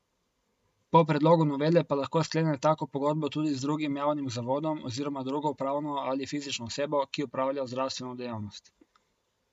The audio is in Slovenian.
Po predlogu novele pa lahko sklene tako pogodbo tudi z drugim javnim zavodom oziroma drugo pravno ali fizično osebo, ki opravlja zdravstveno dejavnost.